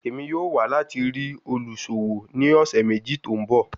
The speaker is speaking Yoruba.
Emi yoo wa lati rii oluṣowo ni ọsẹ meji to nbọ